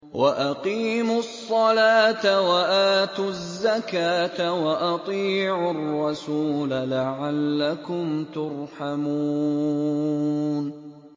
وَأَقِيمُوا الصَّلَاةَ وَآتُوا الزَّكَاةَ وَأَطِيعُوا الرَّسُولَ لَعَلَّكُمْ تُرْحَمُونَ